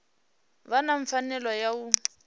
vha na pfanelo ya u